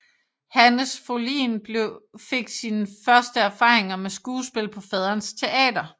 Hannes Fohlin fik sine første erfaringer med skuespil på faderens teater